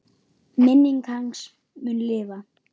Minning hans mun lifa.